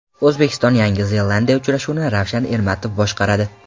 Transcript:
O‘zbekiston Yangi Zelandiya uchrashuvini Ravshan Ermatov boshqaradi.